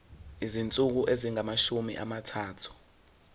izinsuku ezingamashumi amathathu